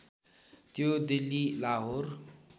त्यो दिल्ली लाहोर